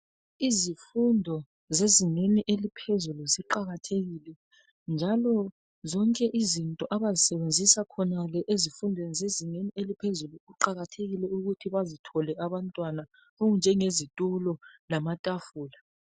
Izifundo zezingeni eliphezulu ziqakathekile, njalo zonke izinto abazisebenzisa khonale ezifundweni zezingeni eliphezulu kuqakathekile ukuthi bazithole abantwana okunjenge zithulo lamatafula.